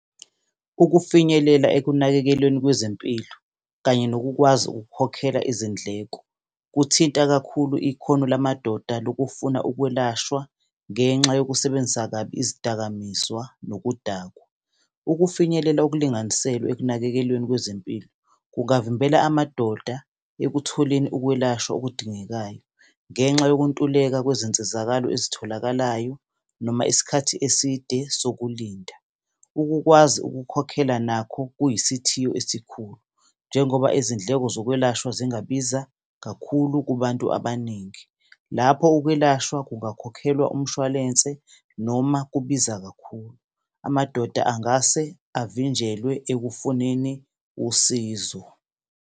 Ukufinyelela ekunakekelweni kwezempilo kanye nokukwazi ukukhokhela izindleko kuthinta kakhulu ikhono lamadoda lokufuna ukwelashwa, ngenxa yokusebenzisa kabi izidakamizwa nokudakwa. Ukufinyelela okulinganiselwe ekunakekelweni kwezempilo kungavimbela amadoda ekutholeni ukwelashwa okudingekayo, ngenxa yokuntuleka kwezinsizakalo ezitholakalayo noma isikhathi eside sokulinda. Ukukwazi ukukhokhela nakho kuyisithiyo esikhulu, njengoba izindleko zokwelashwa zingabiza kakhulu kubantu abaningi. Lapho ukwelashwa, kungakhokhelwanga umshwalense noma kubiza kakhulu. Amadoda angase avinjelwe ekufuneni usizo.